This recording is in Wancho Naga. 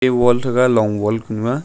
wall thega long wall kunu a.